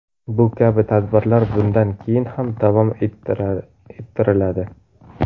Bu kabi tadbirlar bundan keyin ham davom ettiriladi.